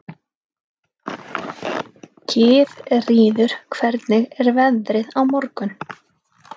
Gyðríður, hvernig er veðrið á morgun?